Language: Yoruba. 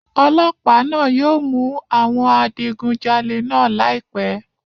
Ọlọ́pàá náà yóò mú àwọn adigunjalè náà láìpẹ́